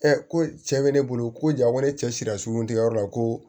ko cɛ be ne bolo ko ja ko ne cɛ sira sugunɛ tigɛyɔrɔ la ko